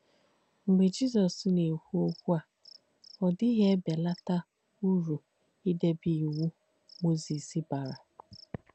Mgbé Jísọ̀s nà-èkwú okwú à, ọ̀ díghì èbèlátà ùrù ìdèbè Ìwù Mósìs bàrà.